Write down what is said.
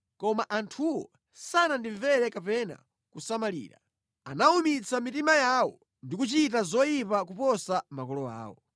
Koma anthuwo sanandimvere kapena kusamalira. Anawumitsa mitima yawo ndi kuchita zoyipa kuposa makolo awo.